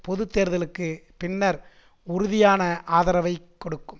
பொது தேர்தலுக்கு பின்னர் உறுதியான ஆதரவைக் கொடுக்கும்